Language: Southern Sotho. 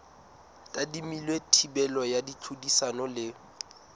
tadimilwe thibelo ya tlhodisano le